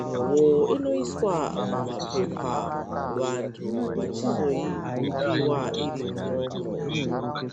imwewo inoiswa mumapepa vantu vachizoipiwa iri imwomo.